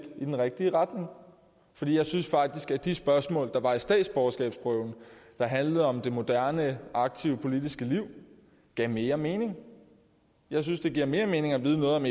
i den rigtige retning for jeg synes faktisk at de spørgsmål der var i statsborgerskabsprøven der handlede om det moderne aktive politiske liv gav mere mening jeg synes det giver mere mening at vide noget om